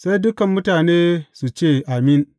Sai dukan mutane su ce, Amin!